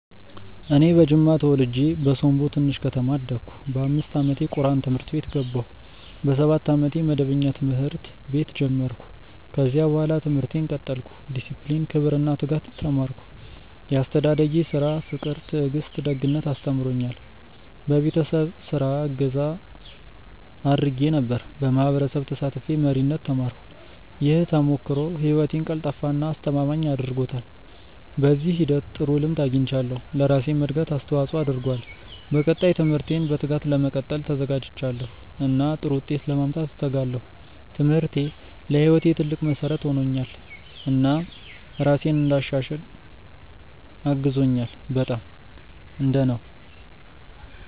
እኔ በጅማ ተወልጄ በሶምቦ ትንሽ ከተማ አደግሁ። በ5 ዓመቴ ቁርአን ትምህርት ቤት ገባሁ። በ7 ዓመቴ መደበኛ ትምህርት ቤት ጀመርሁ። ከዚያ በኋላ ትምህርቴን ቀጠልሁ። ዲሲፕሊን፣ ክብር እና ትጋት ተማርሁ። ያስተዳደጌ ስራ ፍቅር ትዕግስት ደግነት አስተምሮኛል። በቤተሰብ ስራ እገዛ አድርጌ ነበር። በማህበረሰብ ተሳትፌ መሪነት ተማርሁ። ይህ ተሞክሮ ህይወቴን ቀልጣፋ እና አስተማማኝ አድርጎታል። በዚህ ሂደት ጥሩ ልምድ አግኝቻለሁ፣ ለራሴም እድገት አስተዋፅኦ አድርጓል። በቀጣይ ትምህርቴን በትጋት ለመቀጠል ተዘጋጅቻለሁ እና ጥሩ ውጤት ለማምጣት እተጋለሁ። ትምህርቴ ለህይወቴ ትልቅ መሠረት ሆኖልኛል እና ራሴን እንድሻሽል አግዞኛል። በጣም። እንደ ነው።